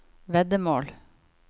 veddemål